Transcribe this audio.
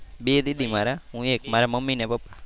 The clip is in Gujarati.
બે દીદી મારા હું એક મારા મમ્મી ને પપ્પા.